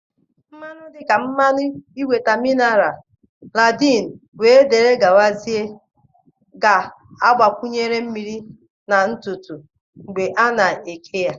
Mmanụ dị ka mmanụ ịnweta mineral, landın we dere gawazie ga-agbakwunye mmiri na ntutu mgbe a na eke ya.